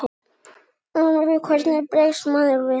Hvernig bregst maður við þessu?